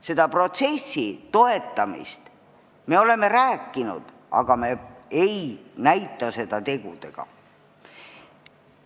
Selle protsessi toetamisest me oleme rääkinud, aga me ei näita seda tegudega.